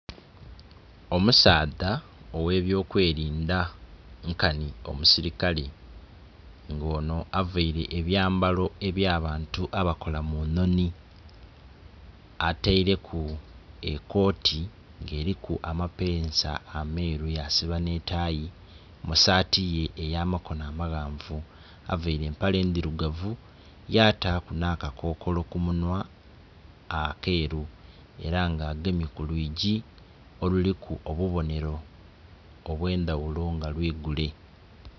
Omusaadha ow'ebyokwelinda nkanhi omusilikale. Nga onho availe ebyambalo eby'abantu abakola mu nhonhi. Ataileku ekooti nga eliku amapeesa ameeru yasiba nh'etayi mu saati ye ey'amakono amaghanvu. Availe empale ndhirugavu, yataku nh'akakokolo ku munhwa akeeru. Era nga agemye ku lwigi oluliku obubonero obw'endhaghulo nga lwigule.